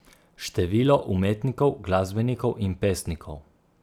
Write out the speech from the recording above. Število umetnikov, glasbenikov in pesnikov.